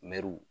Mɛruw